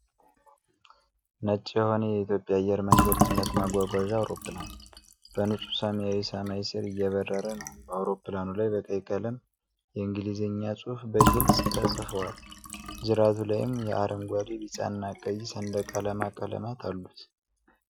ነጭ የሆነ የኢትዮጵያ አየር መንገድ ጭነት ማጓጓዣ አውሮፕላን፣ በንጹህ ሰማያዊ ሰማይ ስር እየበረረ ነው። በአውሮፕላኑ ላይ በቀይ ቀለም የእንግሊዘኛ ጽሑፍ በግልጽ ተጽፉዋል፤ ጅራቱ ላይም የአረንጓዴ፣ ቢጫና ቀይ ሰንደቅ ዓላማ ቀለማት አሉ።